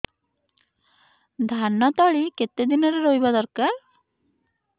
ଧାନ ତଳି କେତେ ଦିନରେ ରୋଈବା ଦରକାର